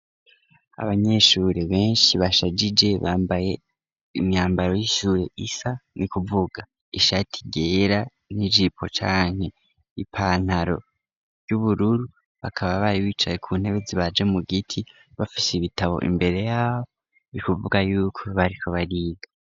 Abanyeshure benshi bashajije bambaye imyambaro y'ishure isa n'ukuvuga ishati ryera n'ijipo canke ipantaro ry'ubururu, bakaba bari bicaye ku ntebe zibaje mu giti bafise ibitabo imbere yabo, ni kuvuga y'uko bariko bariga.